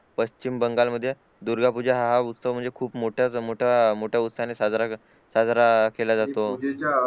पश्चिम बंगाल मध्ये दुर्गा पूजा हा उत्सव म्हणजे खूप मोठ्या मोठ्या उत्साह ने साजरा केला जातो